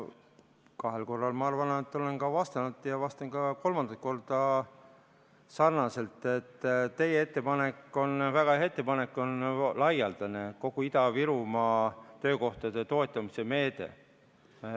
Ma kahel korral, ma arvan, olen vastanud ja vastan ka kolmandat korda sarnaselt, et teie ettepanek on väga hea ettepanek, see on laialdane, kogu Ida-Virumaa töökohtade toetamise meede.